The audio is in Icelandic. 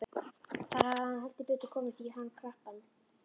Þar hafði hann heldur betur komist í hann krappan.